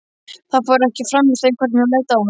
Það fór ekki framhjá þeim hvernig hún leit á hann.